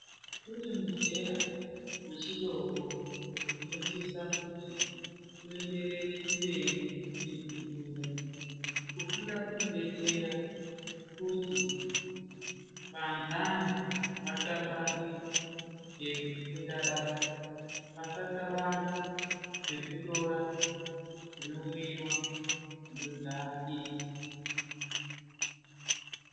Kune muzera vechidoko unosisa kuti uenderere mberi nekufunda. Kufunda kunobetsera kuti vandani vakabange zvekufunda basa. Vasakabange zvekutora zvinomwiva zvinodhakisa.